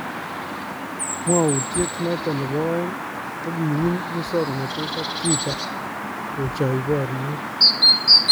Mwawutyet noton nebo aeng kokiwuny musoknotet ak Twitter kochaayi baryeet